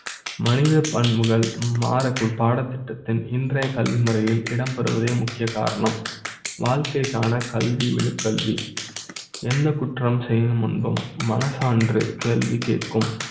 மனித பண்புகள் மாற குள் பாட த் திட்டத்தின் இன்றைய கல்விமுறை யில் இடம்பெறுவதே முக்கிய காரணம் வாழ்க்கை க்கான கல்வி விழு க் கல்வி எந்த குற்றம் செய்யும் முன்பு ம் மன சான்று கேள்வி கேட்கும்